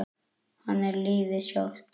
Hann er lífið sjálft.